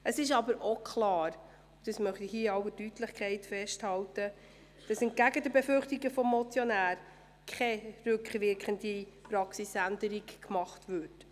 Es ist auch klar, dass – das möchte ich hier in aller Deutlichkeit festhalten – entgegen den Befürchtungen des Motionärs keine rückwirkenden Praxisänderungen vorgenommen werden.